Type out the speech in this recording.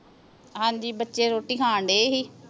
ਹਾਂਜੀ ਬੱਚੇ ਰੋਟੀ ਖਾਣ ਡਏ ਸੀ।